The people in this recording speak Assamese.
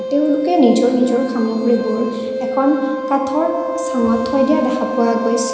তেওঁলোকে নিজৰ নিজৰ সামগ্ৰীবোৰ এখন কাঠৰ চাঙত থৈ দিয়া দেখা পোৱা গৈছে।